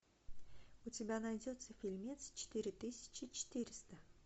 у тебя найдется фильмец четыре тысячи четыреста